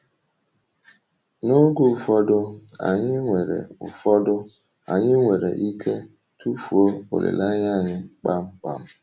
N’oge ụfọdụ, anyị nwere ụfọdụ, anyị nwere ike um tufuo olileanya anyị kpamkpam.